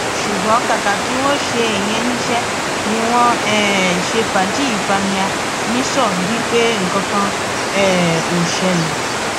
ṣùgbọn kàkà kí wọn ṣe ìyẹn níṣẹ ni wọn ń um ṣe fàájì fàmíà nìṣó bíi pé nǹkan kan um ò ṣẹlẹ